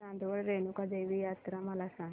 चांदवड रेणुका देवी यात्रा मला सांग